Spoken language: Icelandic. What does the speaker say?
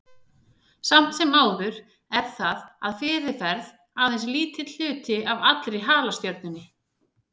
Samt sem áður er það að fyrirferð aðeins lítill hluti af allri halastjörnunni.